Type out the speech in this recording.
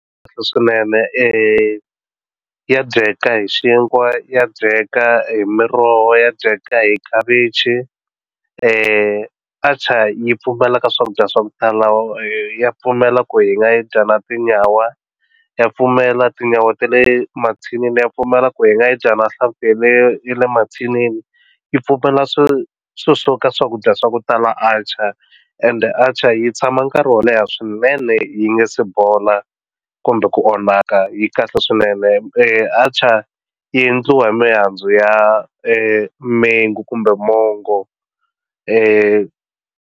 Kahle swinene ya dyeka hi xinkwa ya dyeka hi miroho ya dyeka hi khavichi atchar yi pfumela ka swakudya swa ku tala ya pfumela ku yi nga yi dya na tinyawa ya pfumela tinyawa ta le mathinini ya pfumela ku hi nga yi dya na hlaveleriwa le mathinini yi pfumela swi swo suka swakudya swa ku tala atchar and atchar yi tshama nkarhi wo leha swinene swinene yi nga si bola kumbe ku onhaka yi kahle swinene atchar yi endliwa hi mihandzu ya milenge kumbe mongo.